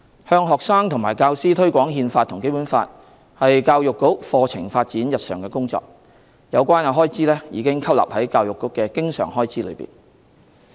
向學生和教師推廣《憲法》和《基本法》是教育局課程發展日常的工作，有關開支已吸納在教育局的經常開支內。